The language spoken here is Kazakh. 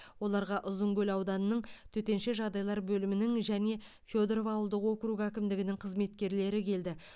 оларға ұзынкөл ауданының төтенше жағдайлар бөлімінің және федоров ауылдық округі әкімдігінің қызметкерлері келді